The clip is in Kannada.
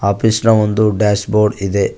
ಆಫೀಸ್ ನ ಒಂದು ಡ್ಯಾಶ್ ಬೋರ್ಡ್ ಇದೆ.